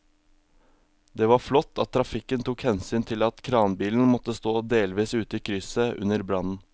Det var flott at trafikken tok hensyn til at kranbilen måtte stå delvis ute i krysset under brannen.